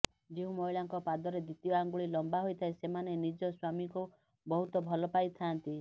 ଯେଉଁ ମହିଳାଙ୍କ ପାଦର ଦ୍ବିତୀୟ ଆଙ୍ଗୁଳି ଲମ୍ବା ହୋଇଥାଏ ସେମାନେ ନିଜ ସ୍ବାମୀଙ୍କୁ ବହୁତ ଭଲ ପାଇଥାଆନ୍ତି